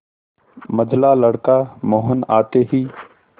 मंझला लड़का मोहन आते ही